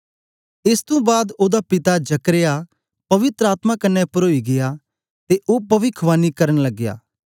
एसतुं बाद ओदा पिता जकर्याह पवित्र आत्मा कन्ने परोई गीया ते ओ पविख्वानी करन लगया